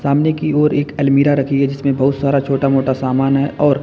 सामने की ओर एक अलमीरा रखी है जिसमें बहुत सारा छोटा मोटा सामान है और--